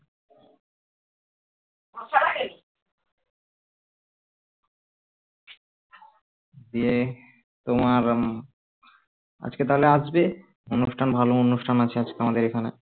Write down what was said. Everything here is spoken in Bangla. দিয়ে তোমার আজকে তাহলে আসবে অনুষ্ঠান ভালো অনুষ্ঠান আছে আজকে আমাদের এখানে